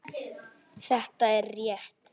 Þetta er rétt.